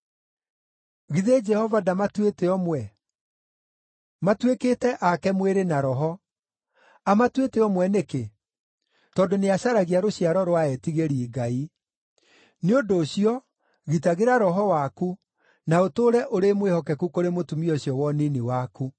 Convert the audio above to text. Githĩ Jehova ndamatuĩte ũmwe? Matuĩkĩte ake mwĩrĩ na roho. Amatuĩte ũmwe nĩkĩ? Tondũ nĩacaragia rũciaro rwa etigĩri Ngai. Nĩ ũndũ ũcio, gitagĩra roho waku, na ũtũũre ũrĩ mwĩhokeku kũrĩ mũtumia ũcio wa ũnini waku.